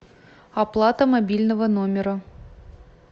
оплата мобильного номера